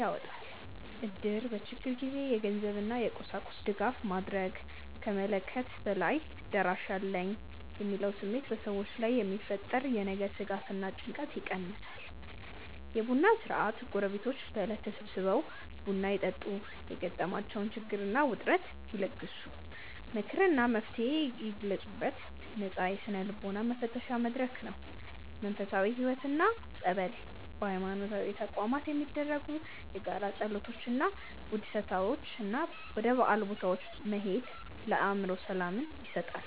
ይወጣል። እድር በችግር ጊዜ የገንዘብ እና የቁሳቁስ ድጋፍ ማድረግ ከመለክየት በላይ "ደራሽ አለኝ" የሚለው ስሜት በሰዎች ላይ የሚፈጠር የነገ ስጋት እና ጭንቀት ይቀንሳል። የቡና ሥርዓት ጎረቤቶች በዕለት ተሰባስበው ቡና ይጠጡ የገጠማቸውን ችግር እና ውጥረት ይለግሱ። ምክር እና መፍትሔ ይለግሱበት ነፃ የስነ-ልቦና መተንፈሻ መድረክ ነው። መንፈሳዊ ሕይወት እና ጸበል በሃይማኖታዊ ተቋማት የሚደረጉ የጋራ ጸሎቶች እና ውድሰታዎች እና ወደ ጸበል ቦታዎች መሄድ ለአእምሮ ሰላምን ይሰጣሉ።